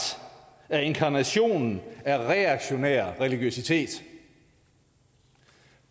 er inkarnationen af reaktionær religiøsitet